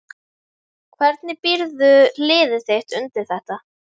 Hvernig býrðu liðið þitt undir þetta?